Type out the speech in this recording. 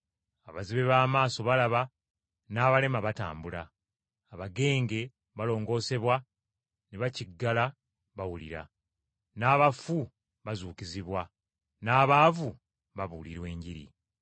Abazibe b’amaaso balaba, n’abalema batambula. Abagenge balongoosebwa ne bakiggala bawulira, n’abafu bazuukizibwa n’abaavu babuulirwa Enjiri.